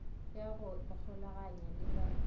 ya go ikgolaganya le ba